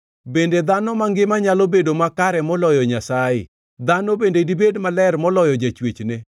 ‘Bende dhano mangima nyalo bedo makare moloyo Nyasaye? Dhano bende dibed maler moloyo jachwechne?